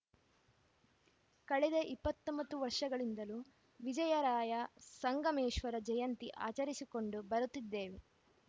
ಕಳೆದ ಇಪ್ಪತ್ತ್ ಒಂಬತ್ತು ವರ್ಷಗಳಿಂದಲೂ ವಿಜಯರಾಯ ಸಂಗಮೇಶ್ವರ ಜಯಂತಿ ಆಚರಿಸಿಕೊಂಡು ಬರುತ್ತಿದ್ದೇವೆ